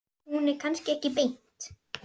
Hún er kannski ekki beint.